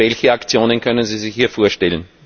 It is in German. Welche Aktionen können Sie sich hier vorstellen?